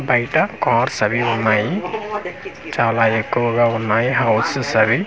బయట కార్స్ అవి ఉన్నాయి చాలా ఎక్కువగా ఉన్నాయి హౌస్ ఒకసారి చూడన్--